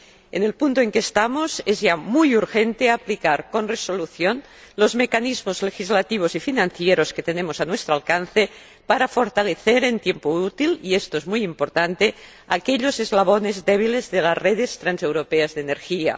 En el punto en el que estamos es ya muy urgente aplicar con resolución los mecanismos legislativos y financieros que tenemos a nuestro alcance para fortalecer en tiempo útil, y esto es muy importante, aquellos eslabones débiles de las redes transeuropeas de energía.